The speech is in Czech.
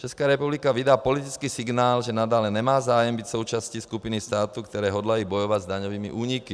Česká republika vydá politický signál, že nadále nemá zájem být součástí skupiny států, které hodlají bojovat s daňovými úniky.